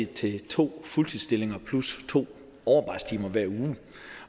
til to fuldtidsstillinger plus to overarbejdstimer hver uge